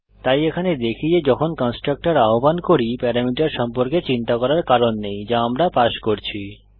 তাই এখানে দেখি যে যখন কন্সট্রাকটর আহ্বান করি প্যারামিটার সম্পর্কে চিন্তা করার কারণ নেই যা আমরা পাস করছি